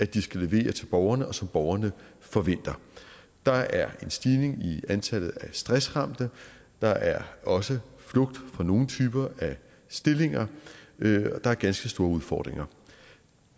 de skal levere til borgerne og som borgerne forventer der er en stigning i antallet af stressramte der er også flugt fra nogle typer af stillinger der er ganske store udfordringer